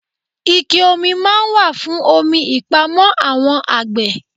Ike-omi máa ń wà fún omi ìpamọ́ àwọn àgbè.